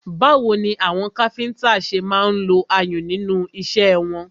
Báwo ni àwọn káfíńńtà ṣe máa ń lo ayùn nínú iṣẹ́ wọn?